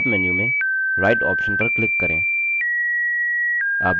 popअप menu में right option पर click करें